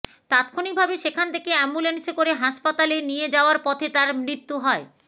তাৎক্ষণিকভাবে সেখান থেকে অ্যাম্বুলেন্সে করে হাসপাতালে নিয়ে যাওয়ার পথে তার মৃত্যু হয়